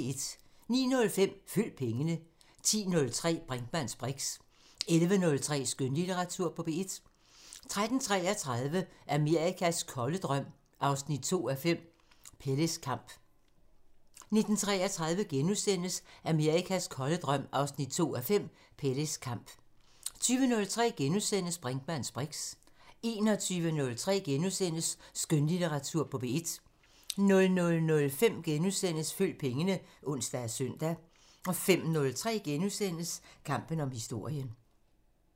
09:05: Følg pengene 10:03: Brinkmanns briks 11:03: Skønlitteratur på P1 13:33: Amerikas kolde drøm 2:5 – Peles Kamp 19:33: Amerikas kolde drøm 2:5 – Peles Kamp * 20:03: Brinkmanns briks * 21:03: Skønlitteratur på P1 * 00:05: Følg pengene *(ons og søn) 05:03: Kampen om historien *